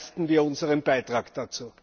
Leisten wir unseren Beitrag dazu.